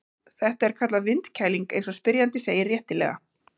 Þetta er kallað vindkæling eins og spyrjandi segir réttilega.